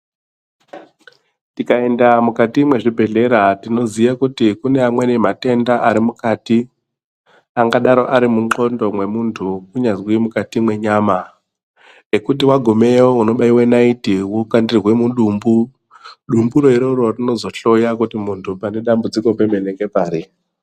Tikaenda mukati mwezvibhedhlera tinoziye kuti kune amweni matenda ari mukati angadaro ari mundxondo mwemuntu kunyazwi mukati mwenyama ekuti wagumeyo unobaiwe naiti wokandirwe mudumbu. Dumburo iroro ndiro rinozohloya kuti muntu pane dambudziko ngepari.